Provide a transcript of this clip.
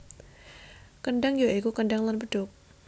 Kendhang ya iku kendhang lan bedhug